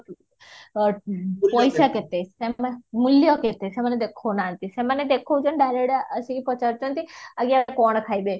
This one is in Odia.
ପଇସା କେତେ ମୂଲ୍ୟ କେତେ ସେମାନେ ଦେଖାଉନାହାନ୍ତି ସେମାନେ ଦେଖାଉଛନ୍ତି direct ଆସିକି ପଚାରୁଚନ୍ତି ଆଜ୍ଞା କଣ ଖାଇବେ